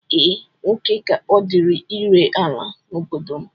Ee, nwoke ka ọ dịịrị ire ala n'obodo m